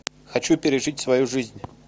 хочу пережить свою жизнь